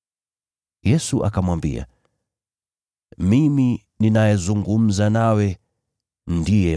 Yesu akamwambia, “Mimi ninayezungumza nawe, ndiye.”